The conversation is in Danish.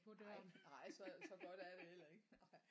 Nej nej så så godt er det heller ikke nej